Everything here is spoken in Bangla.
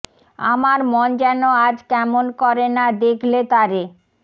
আমার মন যেন আজ কেমন করে না দেখলে তারে